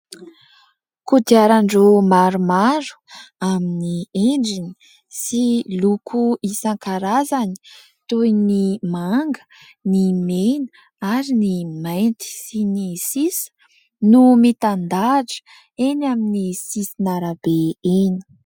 Kodiaran-droa maromaro amin'ny endriny sy loko isan-karazany toy ny manga, ny mena ary ny mainty sy ny sisa no mitandahatra eny amin'ny sisin'arabe eny.